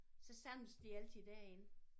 Så samledes de altid derinde